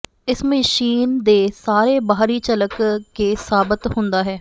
ਇਸ ਮਸ਼ੀਨ ਦੇ ਸਾਰੇ ਬਾਹਰੀ ਝਲਕ ਕੇ ਸਾਬਤ ਹੁੰਦਾ ਹੈ